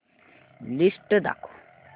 list दाखव